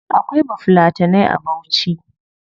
Akwai bafulatanai a bauchi